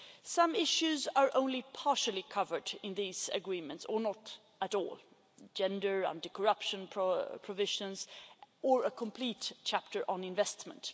Some issues are only partially covered in these Agreements, or not at all gender, anti corruption provisions or a complete chapter on investment.